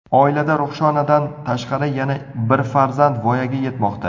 Oilada Ruhshonadan tashqari yana bir farzand voyaga yetmoqda.